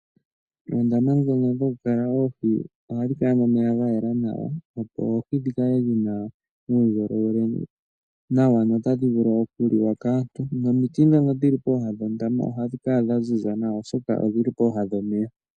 Oondama ndhono dhokukala oohi ohadhi kala nomeya ga yela nawa opo oohi dhikale dhina uundjolowele nawa no tadhi vulu okuliwa kaantu nomiti ndhono dhili pooha dhondama ohadhi kala dha ziza nawa oshoka odhili pooha dhomeya.